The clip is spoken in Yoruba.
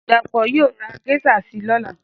Dapo Yóò ra geisha si lọ́la